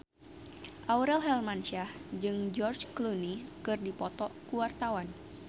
Aurel Hermansyah jeung George Clooney keur dipoto ku wartawan